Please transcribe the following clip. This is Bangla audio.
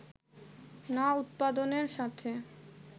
না উৎপাদনের সাথে